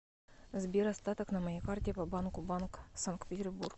сбер остаток на моей карте по банку банк санкт петербург